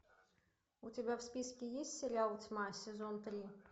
у тебя в списке есть сериал тьма сезон три